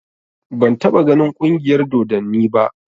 Ban taɓa ganin ƙungiyar dodanni ba